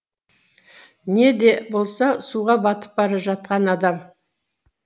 не де болса суға батып бара жатқан адам